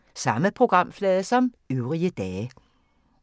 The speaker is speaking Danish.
Samme programflade som øvrige dage